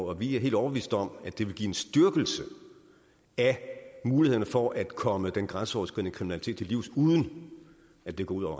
og vi er helt overbeviste om at det vil give en styrkelse af mulighederne for at komme den grænseoverskridende kriminalitet til livs uden at det går ud